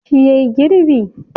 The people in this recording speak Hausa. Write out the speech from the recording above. Shi yayi girbi?